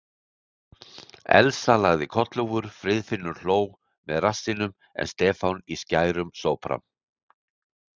Elsa lagði kollhúfur, Friðfinnur hló með rassinum en Stefán í skærum sópran.